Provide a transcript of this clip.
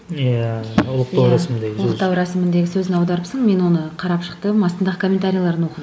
иә ұлықтау рәсімі деген сөзі ұлықтау рәсіміндегі сөзін аударыпсың мен оны қарап шықтым астындағы комментарийлерін оқыдым